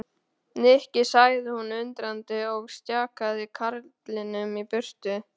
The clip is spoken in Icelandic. Nikki sagði hún undrandi og stjakaði karlinum í burtu.